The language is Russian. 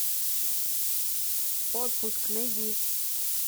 отпуск найди